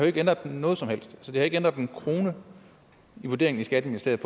ikke ændret noget som helst så det har ikke ændret én krone i vurderingen i skatteministeriet